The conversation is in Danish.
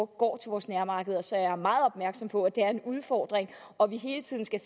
går til vores nærmarkeder så jeg er meget opmærksom på at det er en udfordring og at vi hele tiden skal